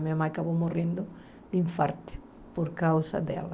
Minha mãe acabou morrendo de infarte por causa dela.